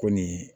Ko nin